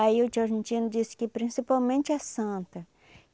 Aí o tio argentino disse que principalmente a Santa.